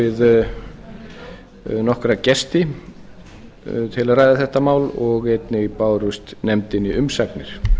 við nokkra gesti til að ræða þetta mál og einnig bárust nefndinni umsagnir